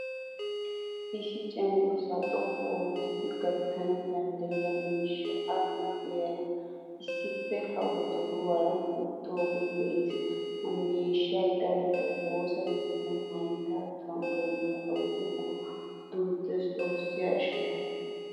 Issi cenggurssa xoqqu oottidi gattanawu danddiyiya miishshaa a huuphphiyaara issippe a wodoruwaara wottidoge de'ees. Ha miishshay darotto woosaa keettan haytta tamburiya awudekko duuttees xoossi ashsho.